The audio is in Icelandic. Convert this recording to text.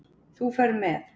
Þú ferð með.